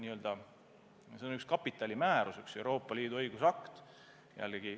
Selle määrab kapitalimäärus, üks Euroopa Liidu õigusakt.